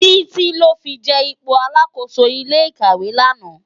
Titi lò fi je ipó àlákósó ilé ikáwé làná